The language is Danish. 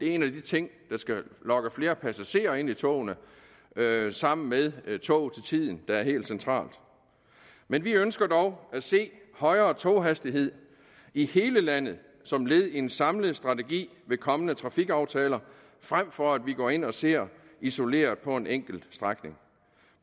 en af de ting der skal lokke flere passagerer ind i togene sammen med tog til tiden der er helt centralt men vi ønsker dog at se højere toghastigheder i hele landet som led i en samlet strategi ved kommende trafikaftaler frem for at vi går ind og ser isoleret på en enkelt strækning